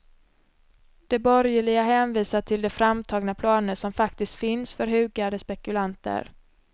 De borgerliga hänvisar till de framtagna planer som faktiskt finns för hugade spekulanter.